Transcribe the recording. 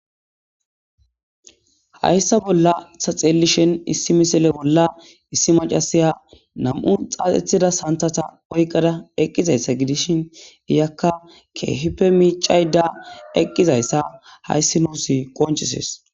hayssa bolla ta xeelishen issi misile bolla issi macasiya nam7u xaaxethida santata oyqada eqqizayssa gidishin iyakka keehipe miicayda eqqizayssa hayssi nuusi qonchisees